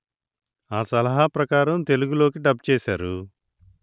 ఆ సలహా ప్రకారం తెలుగులోకి డబ్ చేశారు